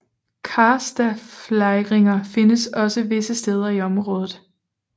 Karstaflejringer findes også visse steder i området